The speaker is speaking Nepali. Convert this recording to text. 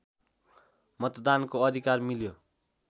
मतदानको अधिकार मिल्यो